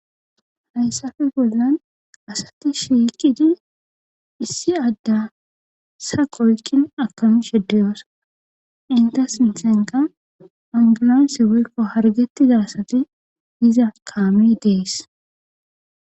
Hayssafe bollan asati shiikidi issi adda saqoykkin akamushediyoosa inta sinsenqa angulanse welko hargetti daasati iza kaami dees.